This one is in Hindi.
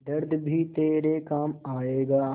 दर्द भी तेरे काम आएगा